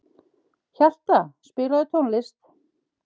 Hjalta, spilaðu tónlist.